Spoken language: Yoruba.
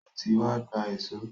O ti wá gba èṣó.